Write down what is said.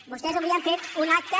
vostès avui han fet un acte